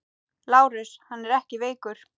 LÁRUS: Hann er ekki veikur!